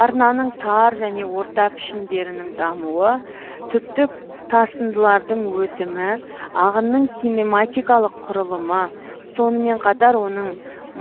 арнаның тар және орта пішіндерінің дамуы түптік тасындылардың өтімі ағынның кинематикалық құрылымы сонымен қатар оның